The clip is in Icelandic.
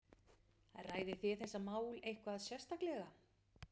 Ræðið þið þessi mál eitthvað sérstaklega?